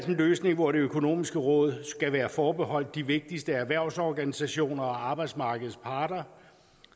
en løsning hvor det økonomiske råd skulle være forbeholdt de vigtigste erhvervsorganisationer og arbejdsmarkedets parter